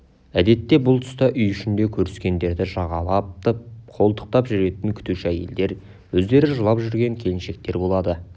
әдетте бұл тұста үй ішінде көріскендерді жағалатып қолтықтап жүретін күтуші әйелдер өздері жылап жүрген келіншектер болады